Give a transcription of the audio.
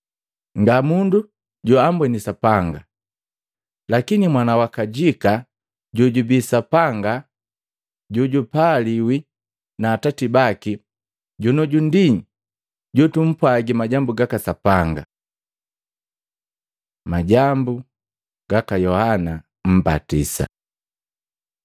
Nga mundu joambweni Sapanga. Lakini Mwana wa kajika, jojubii Sapanga jojupaliwi na Atati baki, jonioju ndi jojutupwagi majambu gaka Sapanga. Majambu gaka Yohana mbatisa Matei 3:1-12; Maluko 1:1-8; Luka 3:1-18